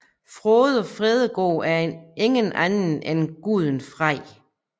Frode Fredegod er ingen anden end guden Frej